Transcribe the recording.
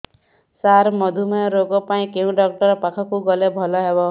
ସାର ମଧୁମେହ ରୋଗ ପାଇଁ କେଉଁ ଡକ୍ଟର ପାଖକୁ ଗଲେ ଭଲ ହେବ